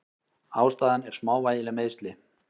Ástæðan er smávægileg meiðsli.